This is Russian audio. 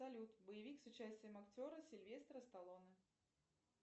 салют боевик с участием актера сильвестра сталлоне